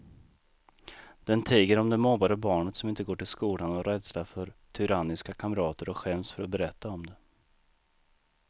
Den tiger om det mobbade barnet som inte går till skolan av rädsla för tyranniska kamrater och skäms för att berätta om det.